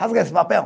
Rasga esse papel.